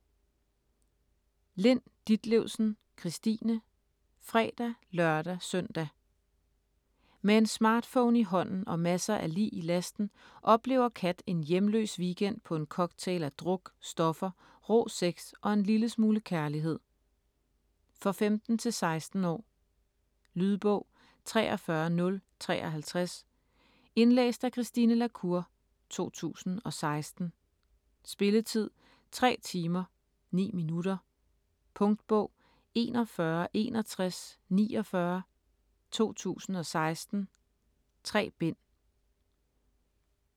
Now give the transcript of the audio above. Lind Ditlevsen, Christine: Fredag, lørdag, søndag Med en smartphone i hånden og masser af lig i lasten oplever Kat en hjemløs weekend på en cocktail af druk, stoffer, rå sex og en lille smule kærlighed. For 15-16 år. Lydbog 43053 Indlæst af Christine la Cour, 2016. Spilletid: 3 timer, 9 minutter. Punktbog 416149 2016. 3 bind.